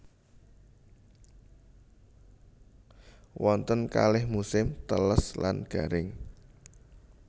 Wonten kalih musim teles lan garing